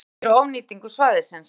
Hafa áhyggjur af ofnýtingu svæðisins